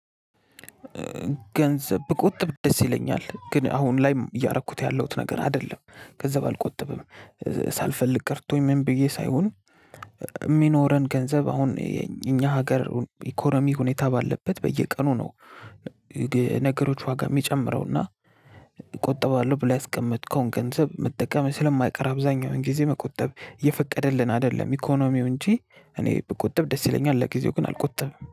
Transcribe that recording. ገንዘብ ብቆጥብ ደስ ይለኛል ግን አሁን ላይም እያረኩት ያለሁት ነገር አይደለም ገንዘብ አልቆጥብም ሳልፈልግ ቀርቶኝ ምን ብዬ ሳይሆን። የሚኖረን ገንዘብ አሁን እኛ ሀገር ኢኮኖሚ ሁኔታ ባለበት በየቀኑ ነው። ነገሮች ዋጋ የሚጨምረው እና እቆጠባለሁ ብለው ያስቀመጥከውን ገንዘብ መጠቀም ስለማይቀር አብዛኛውን ጊዜ መቆጠብ እየፈቀደልን አይደለም ኢኮኖሚው እንጂ እኔ ብቆጥብ ደስ ይለኛል። ለጊዜው ግን አልቆጥብም